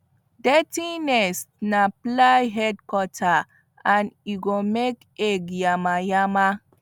dirty nest na fly headquarter and e go make egg yamayama